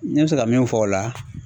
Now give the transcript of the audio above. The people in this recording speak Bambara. N bɛ se ka min fɔ o la